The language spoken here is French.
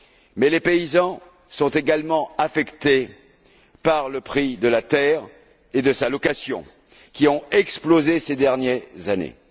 Mais les paysans sont également affectés par le prix de la terre et le prix de sa location, qui ont explosé ces dernières années.